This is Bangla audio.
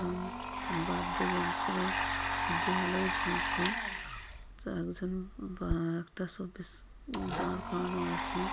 এবং বাদ্য যন্ত্র দেয়ালেও ঝুলছে। তো একজন বা একটা শোপিস দাঁড় করানো আছে।